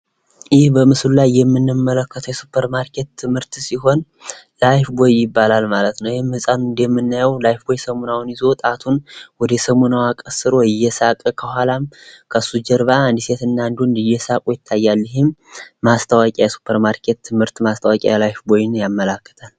ይህ በምስሉ ላይ የምናየው የሱፐርማርኬት ምርት ሳሙና ሲሆን ላይፍቦይ ይባላል። ህጻን ልጅ ሳሙናውን ይዞ ጣቱን ወደ ሳሙናዋ ቀስሮ እያሳየ እና እየሳቀ ሲሆን፤ ከኋላም ሁለት ሰዎች እየሳቁ የሚታዩ ሲሆን ይኸውም የላይፍቦይ ሳሙና የማስታወቂያ ስራ ነው ማለት ነው።